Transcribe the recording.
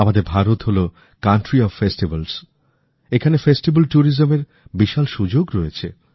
আমাদের ভারত হলো উতসবের দেশ এখানে উতসব পর্যটনের বিশাল সুযোগ রয়েছে